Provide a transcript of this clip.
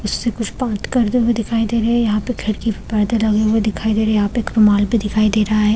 उससे कुछ बात करते हुए दिखाई दे रहे है यहाँ पे खिड़की पे पर्दे लगे हुए दिखाई दे रहे है यहाँ पे एक रुमाल भी दिखाई दे रहा हैं ।